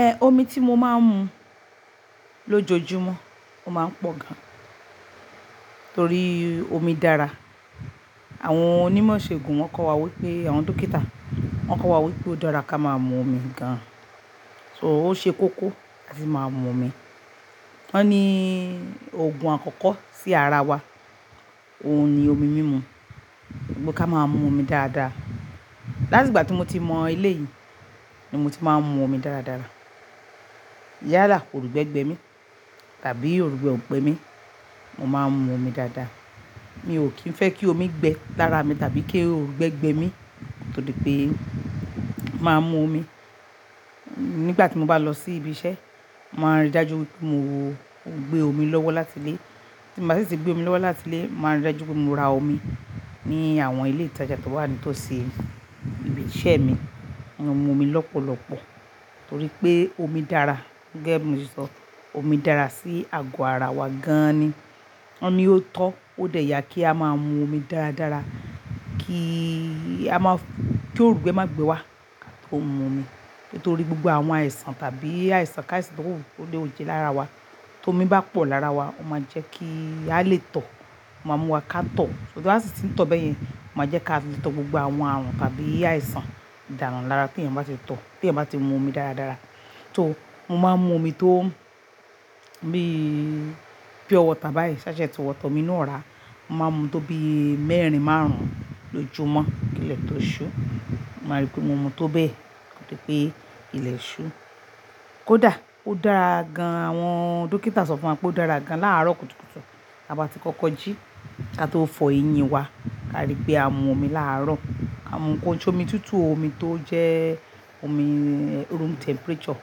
Ẹ omi tí mo máa ń mu lójoojúmọ́, ó máa ń pọ̀ gan torí omi dára. Àwọn onímọ̀ ìṣègùn wọ́n kọ́ wa wípé àwọn dókítà wọ́n kọ́ wa wípé ó dára ká máa mu omi gan. So ó ṣe kóko láti máa mu omi. Wọ́n ní òògùn àkọ́kọ́ sí ara wa, òun ni omi mímu. Pé ká máa mu omi dáadáa. Láti ìgbà tí mo ti mọ eléyìí ni mo ti máa ń mu omi dáradára. Yálà, òrúgbẹ gbẹ mí tàbí òrúgbẹ ò gbẹ mí, mo máa ń mu omi dáadáa. Mi ò kín fẹ́ kí omi gbẹ lára mi tàbí kí òrúgbẹ gbẹ mí, kó to Di pé máa mu omi. Nígbà tí mo bá lọ sí ibi iṣẹ́, màá rí dájú wipé mo gbé omi lọ́wọ́ láti ilé. Tí mi o bá sì tí gbé omi lọ́wọ́ láti ilé, màá rí dájú pé mo ra omi ní àwọn ilé ìtajà tó wà nítòsí ibi iṣẹ́ mi. Mo n mu omi lọ́pọ̀lọ́pọ̀ torí pé omi dára. Gẹ́gẹ́ bí mo ti sọ, omi dára sí àgọ́ ara wa gan an ni. Wọ́n ní ó tọ́ ó dè yà kí á máa mu omi dáradára kí a máa-- kí òrúgbẹ má gbé wa ma tó mu omi. Nítorí gbogbo àwọn àìsàn tàbí àìsàn káàisàn tó wù tó lè wù jẹ lára wa, tó omi bá pọ̀ lára wa, ó máa jẹ́ kí a lè tọ̀, ó máa mú wa ká tọ̀. To bá sì ti ń tọ̀ bẹ́yẹn, ó máa jẹ́ ká lè tọ́ gbogbo àwọn àrùn tàbí àìsàn dánù lára tí èèyàn bá ti tọ̀, tí èèyàn bá ti mu omi dáradára. So mo máa ń mu omi tó bí pure water báyìí ṣáṣẹt water omi inú ọ̀rà. Mo máa ń mu tó bí mẹ́rin márùn-ún lójúmọ́ kí ilẹ̀ tó ṣú. Mo máa rí pé mo mu tó bẹ́ẹ̀ kó to dí pé ilẹ̀ ṣú. Kódà ó dára gan, àwọn dókítà sọ fún wa pé ó dára gan láàárọ̀ kùtùkùtù, tí a bá ti kọ kọjí kí a tó fọ eyín wa, ká rí pé á mu omi láàárọ̀. Amọ́ kò nṣe omi tutù o, omi tó jẹ́ omi room temperature,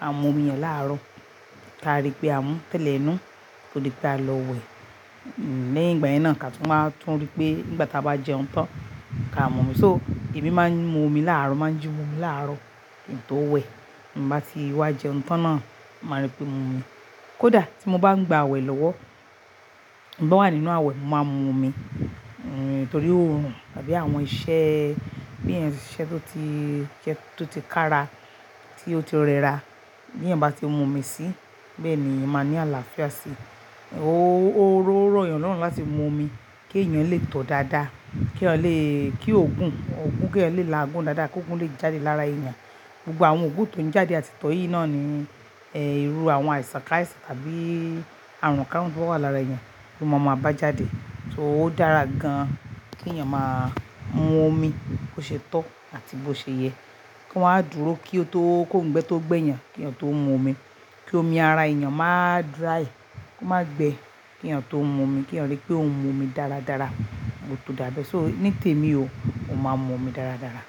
a mú omi yẹn láàárọ̀. Ká rí pé á mú tẹ́lẹ̀ inú kó tó di pé a lọ wẹ̀. Lẹ́yìn ìgbàyẹn náà ká tún wáa tún rí pé nígbà tí a bá jẹun tán ká mu omi. So èmi máa ń mu omi láàárọ̀, mo màá jí mu omi láàárọ̀ kí n tó wẹ̀. Ti'mo bá ti wá jẹun tán náà, màá rí pé mo mu omi. Kódà tí mo bá ń gba àwẹ̀ lọ́wọ́, bí mo bá wà nínú àwẹ̀, mo máa ń mu omi. Torí òòrùn tàbí àwọn iṣẹ́ bóyá èèyàn siṣẹ́ tó ti jẹ́ tó ti ká ra, tí ó ti rẹra, bí èèyàn bá ti mu omi síi, bẹ́ẹ̀ ni èèyàn máa ní àlàáfíà síi. Ó rọ̀ èèyàn lọ́nà láti mu omi kí èèyàn lè tọ̀ dáadáa, k'êyán le-- kí òògùn òògùn kí ó le làágùn dáadáa, kí òògùn lè jáde lára èèyàn. Gbogbo àwọn òògùn tó ń jáde àti tọ́ yìí náà ni eh irú àwọn àìsàn káàisàn tàbí àrùn káàrún tó wà lára èèyàn, to ma ma a bá jáde. So ó dára gan kí èèyàn máa mu omi bó ṣe tọ́ àti bó ṣe yẹ. Ko'ma á dúró kí ó tó kó ń gbé tó gbẹ́ èèyàn kí èèyàn tó mu omi. Kí omi ara èèyàn má dráì, kó má gbe kí èèyàn tó ń mu omi, kí èèyàn rí pé òun mu omi dáradára, gbogbo tò dáabẹ. So ní tèmi o, mo máa ń mu omi dáradára.